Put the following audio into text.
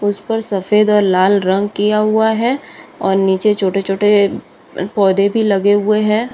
उसपर सफ़ेद और लाल रंग किया हुआ है और नीचे छोटे-छोटे पौधे भी लगे हुए है।